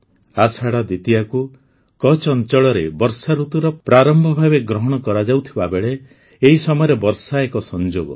ଆଷାଢ଼ ଦ୍ୱିତୀୟାକୁ କଚ୍ଛ୍ ଅଞ୍ଚଳରେ ବର୍ଷାଋତୁର ପ୍ରାରମ୍ଭ ଭାବେ ଗ୍ରହଣ କରାଯାଉଥିବା ବେଳେ ଏହି ସମୟରେ ବର୍ଷା ଏକ ସଂଯୋଗ